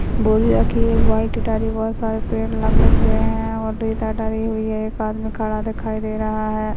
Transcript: बोरियाके एक बाल्टी सार पे लगे हुए है और ठहरी हुई है एक आदमी खड़ा दिखाई दे रहा है।